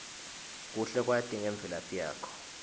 kuhle kwati ngemvelaphi yakho